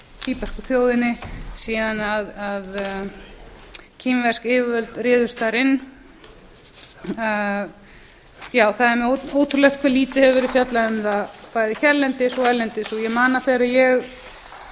tíbesku þjóðinni síðan kínversk yfirvöld réðust þar inn já það er ótrúlegt hve lítið hefur verið fjallað um það bæði hérlendis og erlendis ég man að þegar ég